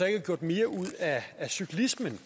ikke har gjort mere ud af cyklismen